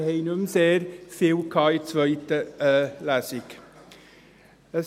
Wir hatten in der zweiten Lesung nicht mehr sehr viel.